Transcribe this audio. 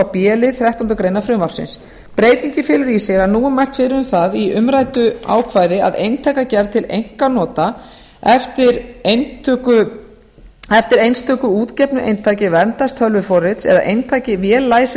b lið þrettánda frumvarpsins breytingin felur í sér að nú er mælt fyrir um það í umræddu ákvæði að eintakagerð til einkanota eftir einstöku útgefnu eintaki verndartölvuforrrits eða eintaki vel